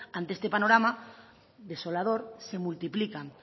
ante este panorama desolador se multiplican